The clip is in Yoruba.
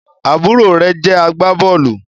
àbúrò rẹ̀ jẹ́ agbábọ́ọ̀lù